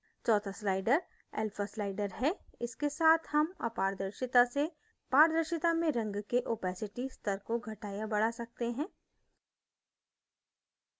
चौथा slider alpha slider है इसके साथ हम अपारदर्शिता से पारदर्शिता में रंग के opacity स्तर को घटा या बढा सकते हैं